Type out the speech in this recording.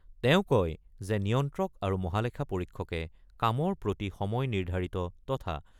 তেওঁ কয় যে নিয়ন্ত্ৰক আৰু মহালেখা পৰীক্ষকে কামৰ প্ৰতি সময় নিৰ্ধাৰিত তথা